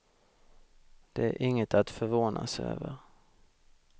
Det är inget att förvånas över.